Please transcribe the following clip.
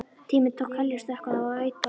Tíminn tók heljarstökk og það veit bara á gott.